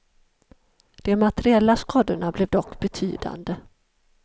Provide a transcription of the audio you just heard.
De materiella skadorna blev dock betydande.